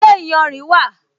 Ṣé iyanrìn wà?